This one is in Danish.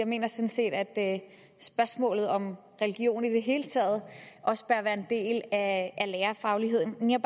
mener sådan set at spørgsmålet om religion i det hele taget også bør være en del af lærerfagligheden jeg